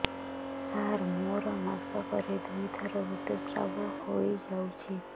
ସାର ମୋର ମାସକରେ ଦୁଇଥର ଋତୁସ୍ରାବ ହୋଇଯାଉଛି